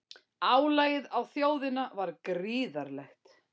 Álagið á þjóðina var gríðarlegt